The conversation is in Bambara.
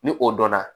Ni o dɔnna